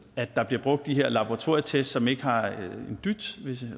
at der bliver brugt de her laboratorietest som ikke har en dyt